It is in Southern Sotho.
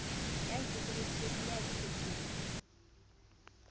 ya ikokobeditseng ya ithobileng o